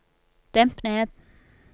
demp ned